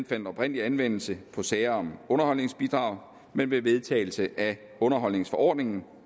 fandt oprindelig anvendelse på sager om underholdsbidrag men ved vedtagelse af underholdspligtforordningen